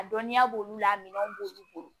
A dɔnniya b'olu la minɛnw b'olu bolo